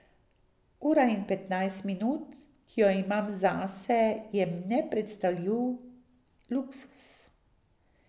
Ura in petnajst minut, ki jo imam zase, je nepredstavljiv luksuz.